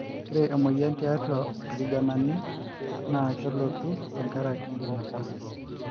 ore emoyian tiatua irkijanani naa kelotu tenkaraki enkinosa